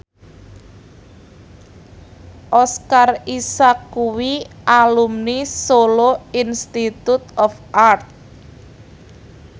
Oscar Isaac kuwi alumni Solo Institute of Art